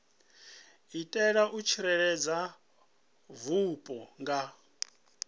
itela u tsireledza vhupo nga